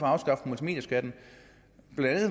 afskaffe multimedieskatten